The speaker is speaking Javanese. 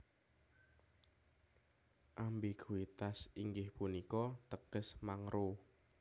Ambiguitas inggih punika teges mangro